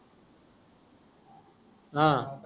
हा